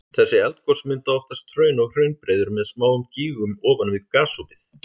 Þessi eldgos mynda oftast hraun og hraunbreiður með smáum gígum ofan við gosopið.